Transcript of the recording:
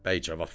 Bəy cavab verdi: